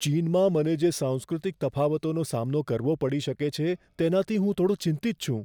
ચીનમાં મને જે સાંસ્કૃતિક તફાવતોનો સામનો કરવો પડી શકે છે, તેનાથી હું થોડો ચિંતિત છું.